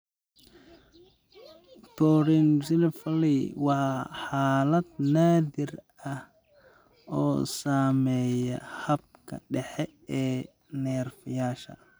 Porencephaly waa xaalad naadir ah oo saameeya habka dhexe ee neerfayaasha.